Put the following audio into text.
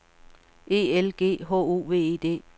E L G H O V E D